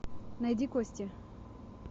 найди кости